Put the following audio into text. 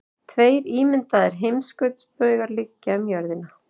tveir ímyndaðir heimskautsbaugar liggja um jörðina